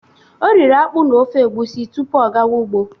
O riri akpụ na ofe egusi tupu ọ gawa ụgbọ.